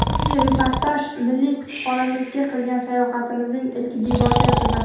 Bugungi reportaj milliy kutubxonamizga qilgan sayohatimning ilk debochasidir.